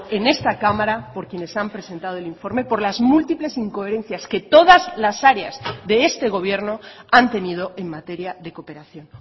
en esta cámara por quienes han presentado el informe por las múltiples incoherencias que todas las áreas de este gobierno han tenido en materia de cooperación